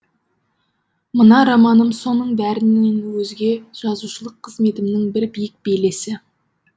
мына романым соның бәрінен өзге жазушылық қызметімнің бір биік белесі